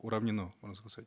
уравнено можно сказать